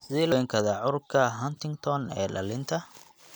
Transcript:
Sidee loo daweyn karaa cudurka Huntington ee dhallinta (HD)?